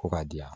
Ko ka di yan